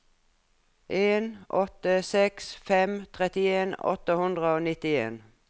en åtte seks fem trettien åtte hundre og nittien